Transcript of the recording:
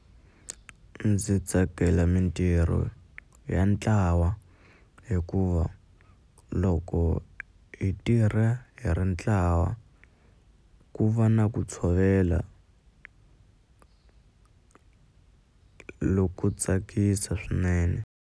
Ndzi tsakela mintirho ya ntlawa hikuva loko hi tirha hi ri ntlawa ku va na ku tshovela loku tsakisa swinene.